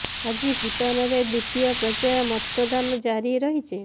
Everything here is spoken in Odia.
ଆଜି ଭୂଟାନରେ ଦ୍ୱିତୀୟ ପର୍ଯ୍ୟାୟ ମତ ଦାନ ଜାରି ରହିଛି